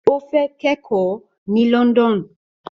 Ó fẹ́ kẹ́kọ̀ọ́ ní London